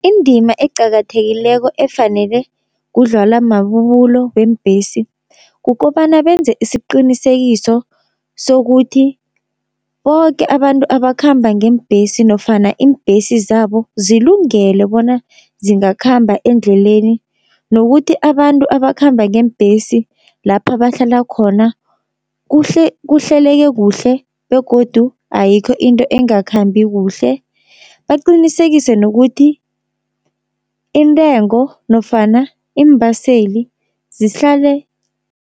Indima eqakathekileko efanele kudlwala mabubulo weembhesi, kukobana benze isiqinisekiso sokuthi boke abantu abakhamba ngeembhesi nofana iimbhesi zabo zilungele bona zingakhamba endleleni. Nokuthi abantu abakhamba ngeembhesi lapha bahlala khona kuhleleke kuhle begodu ayikho into engakhambi kuhle. Baqinisekise nokuthi intengo nofana iimbaseli zihlale.